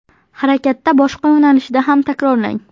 Harakatda boshqa yo‘nalishda ham takrorlang.